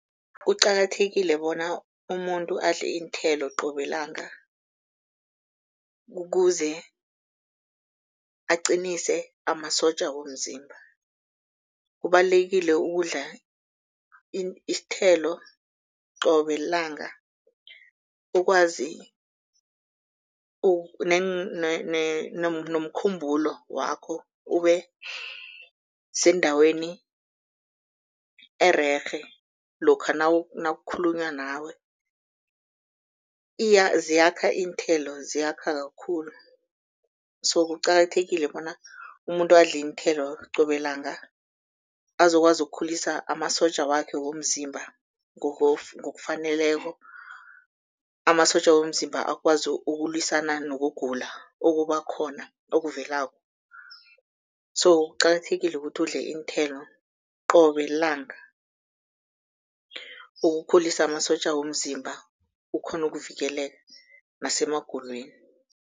Kuqakathekile bona umuntu adle iinthelo qobe langa, kukuze aqinise amasotja womzimba. Kubalulekile ukudla isithelo qobe lilanga ukwazi nomkhumbulo wakho ube sendaweni ererhe, lokha nakukhulunywa nawe. Iya ziyakha iinthelo ziyakha kakhulu so kuqakathekile bona umuntu adle iinthelo qobe langa, azokwazi ukukhulisa amasotja wakhe womzimba ngokufaneleko, amasotja womzimba akwazi ukulwisana nokugula okuba khona okuvelako. So kuqakathekile ukuthi udle iinthelo, qobe lilanga ukukhulisa amasotja womzimba, ukghone ukuvikeleka nasemagulweni.